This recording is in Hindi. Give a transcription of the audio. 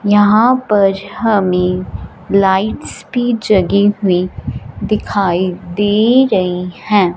यहां पर हमे लाइट्स जगी हुई दिखाई दे रही हैं।